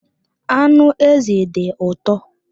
Anụ ezi dị ụtọ